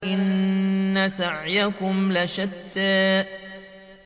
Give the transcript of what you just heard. إِنَّ سَعْيَكُمْ لَشَتَّىٰ